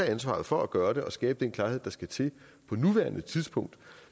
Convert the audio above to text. ansvaret for at gøre det og skabe den klarhed der skal til på nuværende tidspunkt